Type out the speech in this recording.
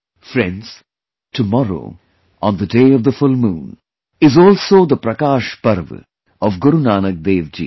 Friends, tomorrow, on the day of the full moon, is also the Prakash Parv of Guru Nanak DevJi